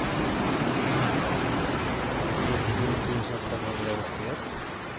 trettio tusen femhundraåttioett